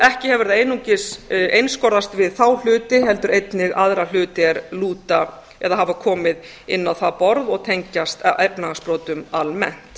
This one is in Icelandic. ekki hefur það einungis einskorðast við þá hluti heldur einnig aðra hluti er lúta eða hafa komið inn á það borð og tengjast efnahagsbrotum almennt